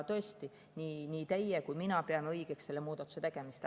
Tõesti, nii teie peate kui ka mina pean õigeks selle muudatuse tegemist.